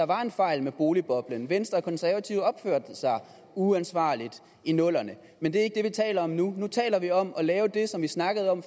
var en fejl med boligboblen venstre og konservative opførte sig uansvarligt i nullerne men det er ikke taler om nu nu taler vi om at lave det som vi snakkede om